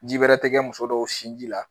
Ji wɛrɛ tɛ kɛ muso dɔw sinji la